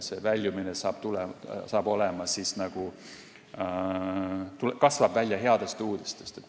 Väljumine aga kasvab välja headest uudistest.